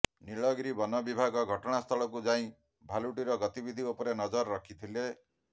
ନୀଳଗିରି ବନ ବିଭାଗ ଘଟଣା ସ୍ଥଳକୁ ଯାଇ ଭାଲୁଟିର ଗତିବିଧି ଉପରେ ନଜର ରଖିଥିଲେ